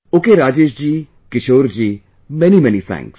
Ok, Rajesh ji, Kishore ji many many thanks